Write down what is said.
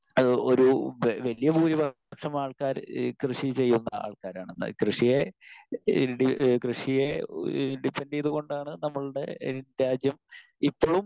Speaker 1 ഏഹ് ഒരു വ വലിയ ഭൂരിപക്ഷം ആൾക്കാരും ഈ കൃഷി ചെയ്യുന്ന ആൾക്കാരാണ്. കൃഷിയെ ഏഹ് ഡി കൃഷിയെ ഡിപ്പൻഡ് ചെയ്തുകൊണ്ടാണ് നമ്മളുടെ രാജ്യം ഇപ്പളും